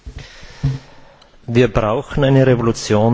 Wir brauchen eine Revolution der Demokratie!